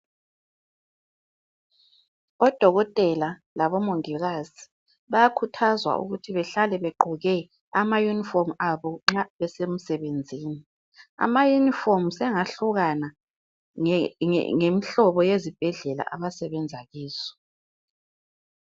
Odokotela labomongikazi bayakhuthazwa ukuthi bahlale be gqoke ama yunifomu abo nxa besemsebenzini amayunifomu sengahlukana ngemihlobo yesibhedlela abasebenza kizo